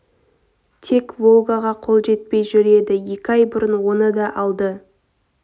тек волгаға қол жетпей жүр еді екі ай бұрын оны да алды